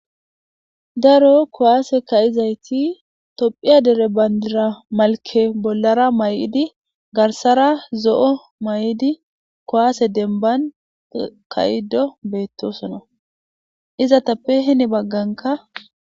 daro kuwaase kaizayti tophphiya dere bayndira malke bollara may7idi garsara zo7o may7idi kowaase denban kayido beettosona iza tappe heni bagganka